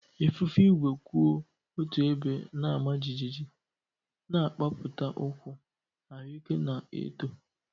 Ifufe igwe kwụ otu ebe na-ama jijiji, na-agbapụta ụkwụ, ahụike na-eto.